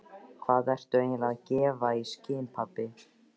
Hvað ertu eiginlega að gefa í skyn, pabbi?